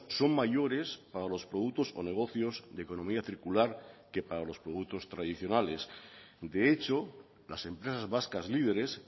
son mayores para los productos o negocios de economía circular que para los productos tradicionales de hecho las empresas vascas líderes